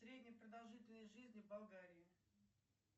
средняя продолжительность жизни в болгарии